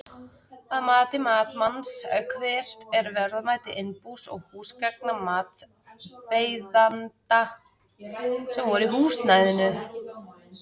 Að mati matsmanns, hvert er verðmæti innbús og húsgagna matsbeiðanda sem voru í húsnæðinu?